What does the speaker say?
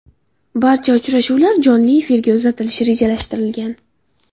Barcha uchrashuvlar jonli efirga uzatilishi rejalashtirilgan.